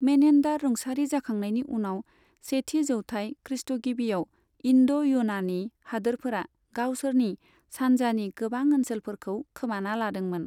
मेनेन्डार रुंसारि जाखांनायनि उनाव सेथि जौथाय खृष्ट'गिबियाव इन्ड' युनानि हादोरफोरा गावसोरनि सानजानि गोबां ओनसोलफोरखौ खोमाना लादोंमोन।